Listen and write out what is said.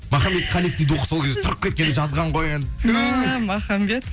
махамбет қалиевтің духы сол кезде тұрып кеткен жазған ғой енді мә махамбет